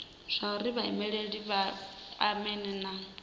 zwauri vhaimeleli vha kwamane na